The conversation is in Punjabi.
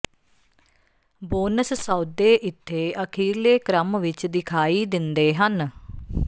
ਬੋਨਸ ਸੌਦੇ ਇੱਥੇ ਅਖੀਰਲੇ ਕ੍ਰਮ ਵਿੱਚ ਦਿਖਾਈ ਦਿੰਦੇ ਹਨ